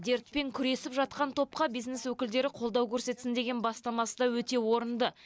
дертпен күресіп жатқан топқа бизнес өкілдері қолдау көрсетсін деген бастамасы да өте орынды